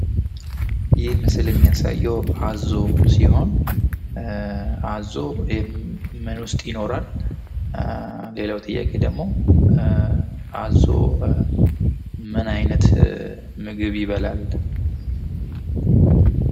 ይህ ምስል የሚያሳየው አዞ ሲሆን አዞ ምን ውስጥ ይኖራል? ሌላው ጥያቄ ደግሞ አዞ ምን አይነት ምግብ ይበላል?